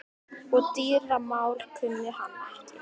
Og dýramál kunni hann ekki.